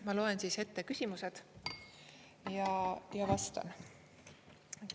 Ma loen ette küsimused ja vastan.